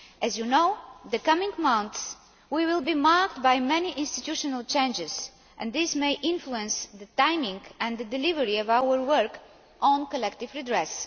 As you know, the coming months will be marked by many institutional changes, and this may influence the timing and the delivery of our work on collective redress.